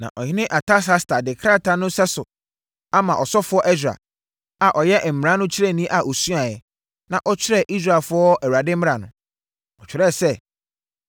Na ɔhene Artasasta de krataa no sɛso ama ɔsɔfoɔ Ɛsra, a ɔyɛ mmara no kyerɛni a ɔsuaeɛ, na ɔkyerɛɛ Israelfoɔ Awurade mmara no. Ɔtwerɛɛ sɛ: